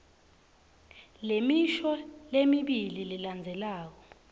lemisho lemibili lelandzelako